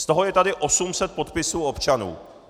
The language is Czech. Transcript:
Z toho je tady 800 podpisů občanů.